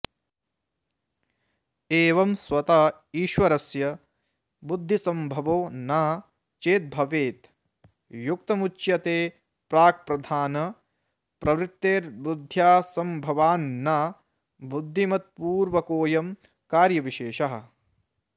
एवं स्वत ईश्वरस्य बुद्धिसम्भवो न चेद्भवेत् युक्तमुच्यते प्राक्प्रधानप्रवृत्तेर्बुद्ध्यसम्भवान्न बुद्धिमत्पूर्वकोऽयं कार्यविशेषः